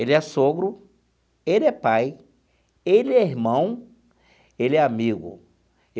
Ele é sogro, ele é pai, ele é irmão, ele é amigo.